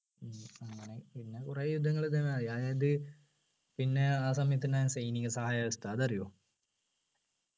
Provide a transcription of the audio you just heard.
ഉം അങ്ങനെ പിന്നെ കുറെ യുദ്ധങ്ങൾ അതായത് പിന്നെ ആ സമയത്ത് ഉണ്ടായ സൈനിക സഹായക വ്യവസ്ഥ അതറിയോ